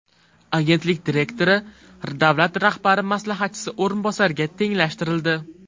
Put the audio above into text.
Agentlik direktori davlat rahbari maslahatchisi o‘rinbosariga tenglashtirildi.